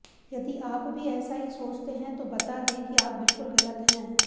यदि आप भी ऐसा ही सोचते हैं तो बता दें की आप बिलकुल गलत हैं